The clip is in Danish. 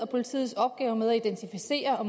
politiets opgave med at identificere og